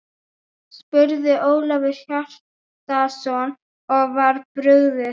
spurði Ólafur Hjaltason og var brugðið.